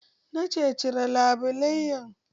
Na ce 'Cire labulaiyan'!